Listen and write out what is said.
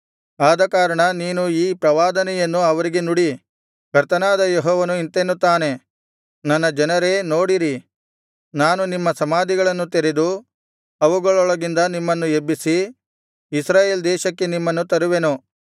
ಆದಕಾರಣ ನೀನು ಈ ಪ್ರವಾದನೆಯನ್ನು ಅವರಿಗೆ ನುಡಿ ಕರ್ತನಾದ ಯೆಹೋವನು ಇಂತೆನ್ನುತ್ತಾನೆ ನನ್ನ ಜನರೇ ನೋಡಿರಿ ನಾನು ನಿಮ್ಮ ಸಮಾಧಿಗಳನ್ನು ತೆರೆದು ಅವುಗಳೊಳಗಿಂದ ನಿಮ್ಮನ್ನು ಎಬ್ಬಿಸಿ ಇಸ್ರಾಯೇಲ್ ದೇಶಕ್ಕೆ ನಿಮ್ಮನ್ನು ತರುವೆನು